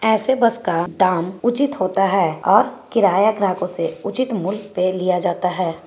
ऐसे बस का दाम उचित होता हैं और किराया ग्राहकों से उचित मूल्य पे लिया जाता है |